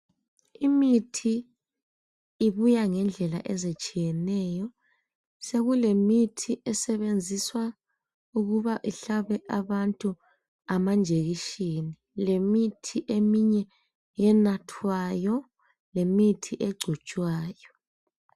Imithi ibuya ngendlela ezitshiyeneyo sokulemithi esebenziswa ukuba ihlabe abantu amanjekiseni leminye imithi eminye enathwayo lemithi egcotshwayo.